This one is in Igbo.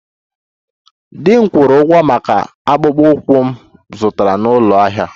Di m kwụrụ ụgwọ maka akpụkpọ ụkwụ m zụtara n'ụlọ ahịa